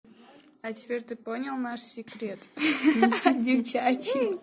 а теперь ты понял наш секрет ха-ха девчачий